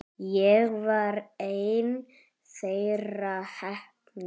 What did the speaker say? Ég var ein þeirra heppnu.